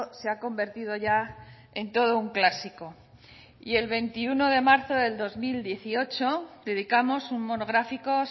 se ha convertido ya en todo un clásico y el veintiuno de marzo del dos mil dieciocho dedicamos un monográfico